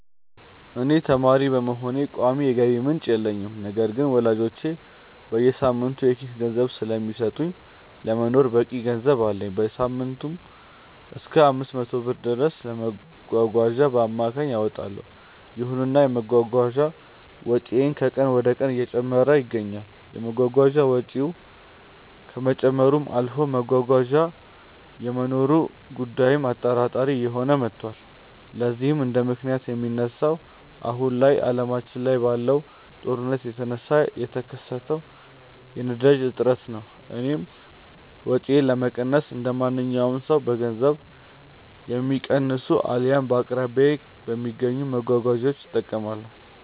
እኔ ተማሪ በመሆኔ ቋሚ የገቢ ምንጭ የለኝም። ነገር ግን ወላጆቼ በየሳምንቱ የኪስ ገንዘብ ስለሚሰጡኝ ለመኖር በቂ ገንዘብ አለኝ። በሳምንትም እሰከ 500 ብር ድረስ ለመጓጓዣ በአማካይ አወጣለው። ይሁንና የመጓጓዣ ወጪዬ ከቀን ወደቀን እየጨመረ ይገኛል። የመጓጓዣ ወጪው ከመጨመርም አልፎ መጓጓዣ የመኖሩ ጉዳይም አጠራጣሪ እየሆነ መቷል። ለዚህም እንደምክንያት የሚነሳው አሁን ላይ አለማችን ላይ ባለው ጦርነት የተነሳ የተከሰተው የነዳጅ እጥረት ነው። እኔም ወጪዬን ለመቀነስ እንደማንኛውም ሰው በገንዘብ የሚቀንሱ አልያም በአቅራቢያዬ በሚገኙ መጓጓዣዎች እጠቀማለሁ።